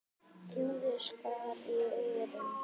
Hljóðið skar í eyrun.